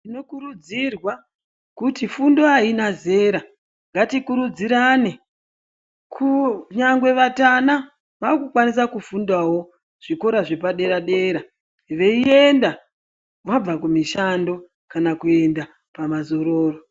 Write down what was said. Tinokurudzirwa kuti fundo aina zera ngatikurudzirane kunyangwe vatana vakukwanisa kufundawo zvikora zvepadera dera veienda vabva kumishanda kana kuenda pamazororo.